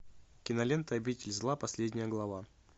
кинолента обитель зла последняя глава